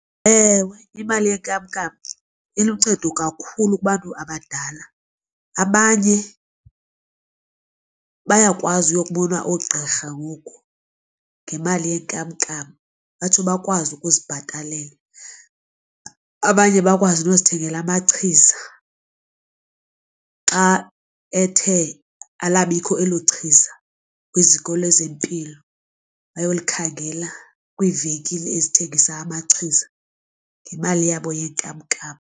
Ewe, imali yenkamnkam iluncedo kakhulu kubantu abadala, abanye bayakwazi uyokubona oogqirha ngoku ngemali yenkamnkam batsho bakwazi ukuzibhatalela. Abanye bakwazi nokuzithengela amachiza xa ethe alabikho elo chiza kwiziko lezempilo bayolikhangela kwiivenkile ezithengisa amachiza ngemali yabo yenkamnkam.